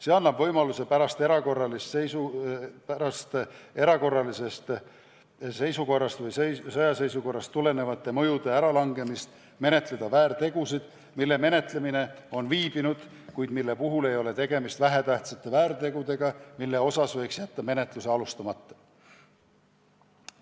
See annab võimaluse pärast erakorralisest seisukorrast või sõjaseisukorrast tuleneva mõju äralangemist menetleda väärtegusid, mille menetlemine on viibinud, kuid mille puhul ei ole tegemist vähetähtsate väärtegudega, mille osas võiks jätta menetluse alustamata.